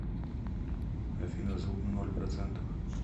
афина звук на ноль процентов